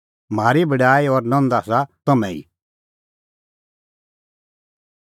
म्हारी बड़ाई और नंद आसा तम्हैं ई